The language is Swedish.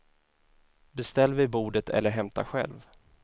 Beställ vid bordet eller hämta själv.